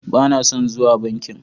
Ba na son zuwa bankin